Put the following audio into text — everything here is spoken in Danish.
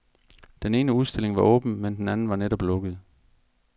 Den ene udstilling var åben, men den anden var netop lukket.